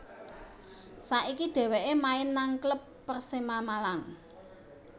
Saiki dheweke main nang klub Persema Malang